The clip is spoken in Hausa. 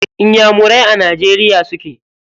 Inyamurai a najeriya suke.